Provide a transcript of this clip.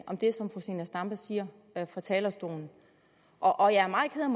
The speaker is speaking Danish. om det som fru zenia stampe siger fra talerstolen og jeg er meget ked